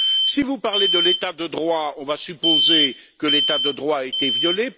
Si vous parlez de l'état de droit, on va supposer que l'état de droit a été violé.